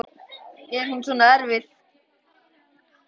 Er hún svona erfið?